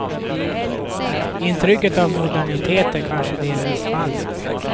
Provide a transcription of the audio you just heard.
Intrycket av modernitet är kanske delvis falskt.